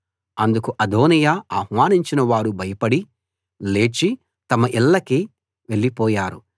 అందుకు అదోనీయా ఆహ్వానించిన వారు భయపడి లేచి తమ ఇళ్ళకి వెళ్లిపోయారు